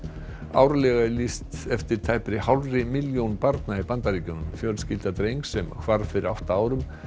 árlega er lýst eftir tæpri hálfri milljón barna í Bandaríkjunum fjölskylda drengs sem hvarf fyrir átta árum